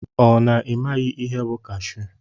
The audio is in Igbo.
Ọ na imaghi ihe bụ kashu?